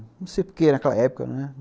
Não sei porquê, naquela época, né?